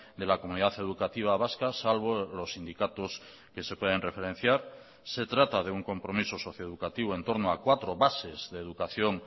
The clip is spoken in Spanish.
de la comunidad educativa vasca salvo los sindicatos que se pueden referenciar se trata de un compromiso socioeducativo entorno a cuatro bases de educación